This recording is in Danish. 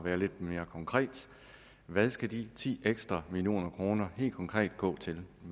være lidt mere konkret hvad skal de ti ekstra millioner kroner helt konkret gå til